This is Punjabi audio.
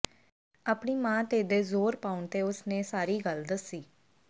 ਆਪਣੀ ਮਾਂ ਤੇਦੇ ਜ਼ੋਰ ਪਾਉਣ ਤੇ ਉਸ ਨੇ ਸਾਰੀ ਗੱਲ ਦੱਸੀ